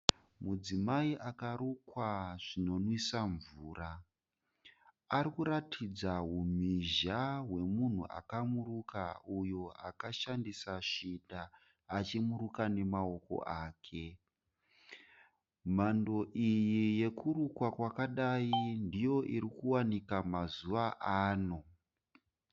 Mudzimai akarukwa zvinonwisa mvura, arikuratidza humhizha hwemunhu akamuruka uyo akashandisa shinda achimuruka nemaoko ake, mhando iyi yokurukwa kwakadai ndiyo iri kuwanika mazuva ano.